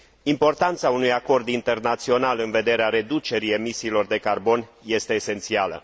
Importanța unui acord internațional în vederea reducerii emisiilor de carbon este esențială.